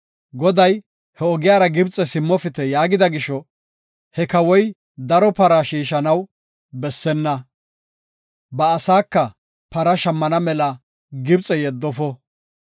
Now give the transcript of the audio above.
Goday, “He ogiyara Gibxe simmopite” yaagida gisho, he kawoy daro para shiishanaw bessenna; ba asaaka para shammana mela Gibxe yeddofo.